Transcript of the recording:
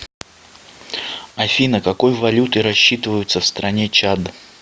афина какой валютой рассчитываются в стране чад